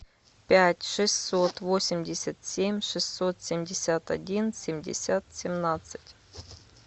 пять шестьсот восемьдесят семь шестьсот семьдесят один семьдесят семнадцать